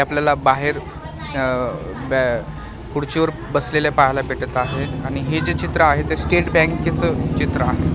आपल्याला बाहेर अह ब्या खुर्चीवर बसलेले पाहायला भेटत आहेत आणि हे जे चित्र आहे ते स्टेट बँके चे चित्र आहे.